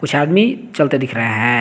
कुछ आदमी चलते दिख रहे हैं।